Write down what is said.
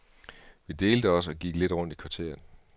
Vi delte os og gik lidt rundt i kvarteret.